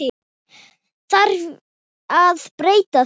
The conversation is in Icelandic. Þarf að breyta því?